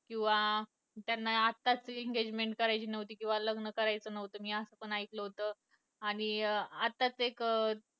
किंवा त्यांना आत्ताच engagement करायची नव्हती किंवा लग्न करायचं नव्हतं मी असं पण एकलं होतं आणि अं आत्ताच एक अं